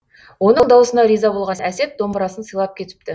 оның дауысына риза болған әсет домбырасын сыйлап кетіпті